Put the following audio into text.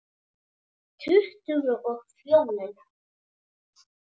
Tuttugu og fjórir!